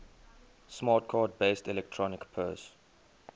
smart card based electronic purse